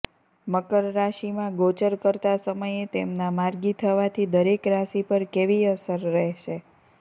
મકર રાશિમાં ગોચર કરતા સમયે તેમના માર્ગી થવાથી દરેક રાશિ પર કેવી અસર રહેશે